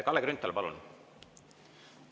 Kalle Grünthal, palun!